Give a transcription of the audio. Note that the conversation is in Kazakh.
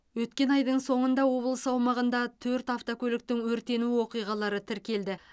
өткен айдың соңғында облыс аумағында төрт автокөліктің өртену оқиғалары тіркелді